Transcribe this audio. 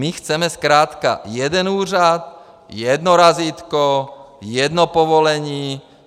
My chceme zkrátka jeden úřad, jedno razítko, jedno povolení.